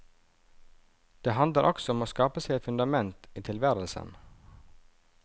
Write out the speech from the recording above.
Det handler også om å skape seg et fundament i tilværelsen.